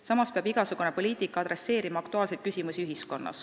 Samas peab igasugune poliitika tegelema ühiskonnas aktuaalsete küsimustega.